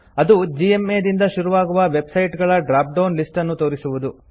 ಅದು ಜಿಎಂಎ ದಿಂದ ಶುರುವಾಗುವ ವೆಬ್ ಸೈಟ್ಸ್ ಗಳ ಡ್ರಾಪ್ ಡೌನ್ ಲಿಸ್ಟ್ ಅನ್ನು ತೋರಿಸುವುದು